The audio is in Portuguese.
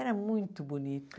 Era muito bonito.